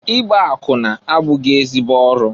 Igba akwụna abụghị ezi ọrụ.